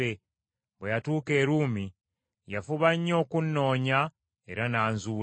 bwe yatuuka e Ruumi, yafuba nnyo okunnoonya era n’anzuula.